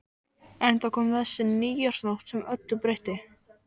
En þá kom þessi nýársnótt sem öllu breytti.